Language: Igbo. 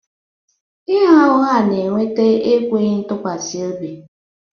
Ịgha ụgha na-eweta enweghị ntụkwasị obi